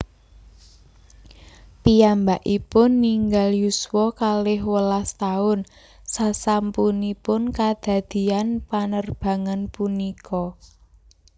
Piyambakipun ninggal yuswa kalih welas taun sasampunipun kadadian panerbangan punika